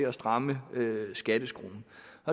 at stramme skatteskruen